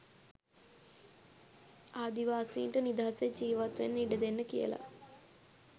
ආදිවාසීන්ට නිදහසේ ජීවත්වෙන්න ඉඩදෙන්න කියලා.